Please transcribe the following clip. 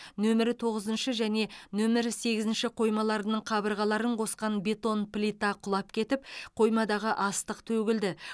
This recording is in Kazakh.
нөмірі тоғызыншы және нөмірі сегізінші қоймаларының қабырғаларын қосқан бетон плита құлап кетіп қоймадағы астық төгілді